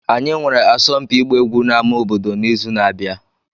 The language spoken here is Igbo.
Anyị nwere asọmpi ịgba egwu n'ámá obodo n'izu na-abịa.